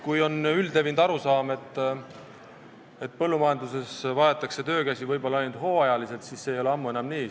On üldlevinud arusaam, et põllumajanduses vajatakse töökäsi võib-olla ainult hooajaliselt, aga see ei ole ammu enam nii.